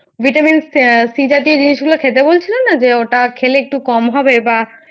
Vitamin C জাতীয় জিনিস গুলো খেতে বলছিলো না যে ওটা খেলে একটু কম হবে বা